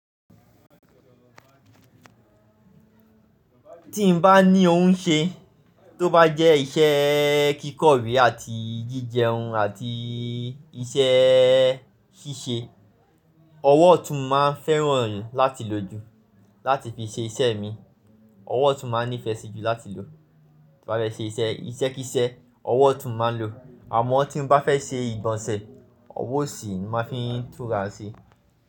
Tí n bá ní ohun ṣe tó bá jẹ́ iṣẹ́ kíkọ́ ìwé àti jíjẹun àti iṣẹ́ ṣíṣe, ọwọ́ otún máa fẹ́ràn láti lo jù láti fi ṣe iṣẹ́ mi. Ọwọ́ tún máa nífẹ̀ẹ́ sí jù láti lò. Ti mo bá fẹ́ ṣe iṣẹ́, iṣẹ́ kí iṣẹ́, ọwọ́ tún máa ń lo. Àmọ́ tí n bá fẹ́ ṣe ìgbọ̀nsẹ̀, ọwọ́ osì máa fi ń tún rà á ṣe.